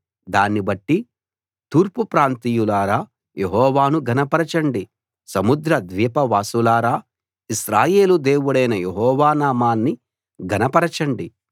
దాన్ని బట్టి తూర్పు ప్రాంతీయులారా యెహోవాను ఘనపరచండి సముద్ర ద్వీపవాసులారా ఇశ్రాయేలు దేవుడైన యెహోవా నామాన్ని ఘనపరచండి